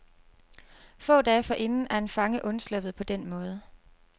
Få dage forinden er en fange undsluppet på den måde.